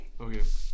Okay